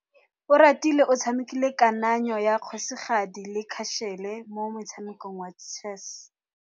Oratile o tshamekile kananyô ya kgosigadi le khasêlê mo motshamekong wa chess.